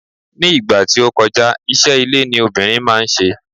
ní ìgbà tí o ti kọja, iṣẹ ile ni obìnrin ma n se